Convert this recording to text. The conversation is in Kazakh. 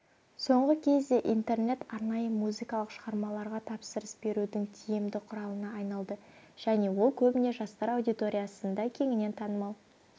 соңғы кезде интернет арнайы музыкалық шығармаларға тапсырыс берудің тиімді құралына айналды және ол көбіне жастар аудиториясында кеңінен танымал